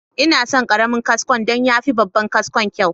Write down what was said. Ina son karamin kaskon don ya fi babban kaskon kyau.